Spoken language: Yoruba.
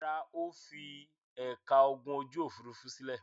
Rárá, ó fi ẹ̀ka ogun ojú-òfurufú sílẹ̀.